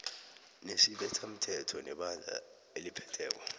nesibethamthetho nebandla eliphetheko